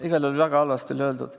Igal juhul väga halvasti oli öeldud.